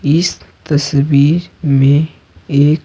इस तस्वीर में एक--